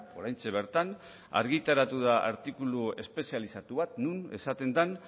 oraintxe bertan argitaratu da artikulu espezializatu bat non esaten den